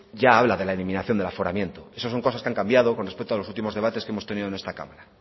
ya habla de la eliminación del aforamiento eso son cosas que han cambiado con respecto a los últimos debates que hemos tenido en esta cámara